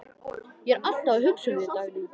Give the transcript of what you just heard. Ég er alltaf að hugsa um þig, Dagný.